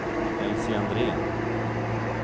Elsie Andrén